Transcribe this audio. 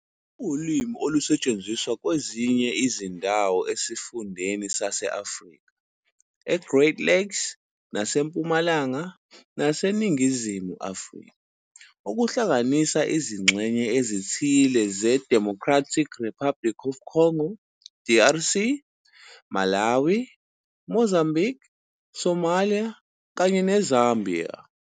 Kuwulimi olusetshenziswa kwezinye izindawo esifundeni sase-Afrika e-Great Lakes naseMpumalanga naseNingizimu Afrika, okuhlanganisa izingxenye ezithile zeDemocratic Republic of the Congo, DRC, Malawi, Mozambique, Somalia, kanye neZambia.